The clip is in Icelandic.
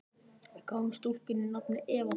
Við gáfum stúlkunni nafnið Eva Þóra.